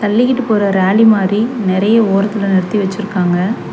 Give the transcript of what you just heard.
தள்ளிக்கிட்டு போற ரேலி மாரி நெறைய ஓரத்துல நிறுத்தி வச்சிருக்காங்க.